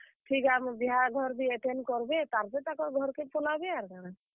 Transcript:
ଠିକ୍ ଆମର୍ ବିହାଘର ବି attend କର୍ ବେ ତାର୍ ପରେ ତାକର୍ ଘରକେ ପଲାବେ ଆର କାଣା।